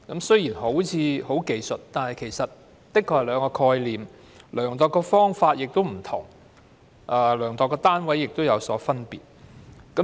雖然看似是技術性修訂，但其實是兩種概念，量度的方法及單位亦有分別。